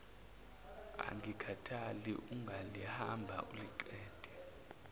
angikhathali ungalihamba uliqede